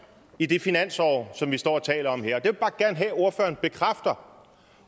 i det finansår som vi står og taler om her jeg bare gerne have at ordføreren bekræfter